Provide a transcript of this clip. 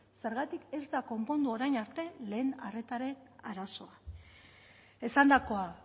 zergatik ez da konpondu orain arte lehen arretaren arazoa esandakoa